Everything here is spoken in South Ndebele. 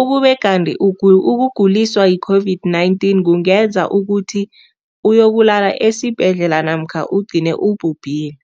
ukube kanti ukuguliswa yi-COVID-19 kungenza ukuthi uyokulala esibhedlela namkha ugcine ubhubhile.